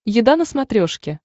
еда на смотрешке